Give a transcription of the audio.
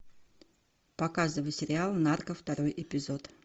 показывай сериал нарко второй эпизод